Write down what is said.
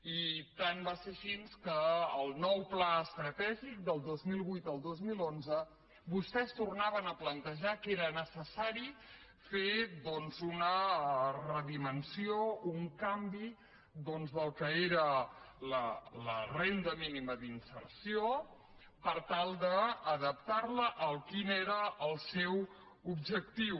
i tant va ser així que al nou pla estratègic del dos mil vuit al dos mil onze vostès tornaven a plantejar que era necessari fer doncs una redimensió un canvi del que era la renda mínima d’inserció per tal d’adaptar la a quin era el seu objectiu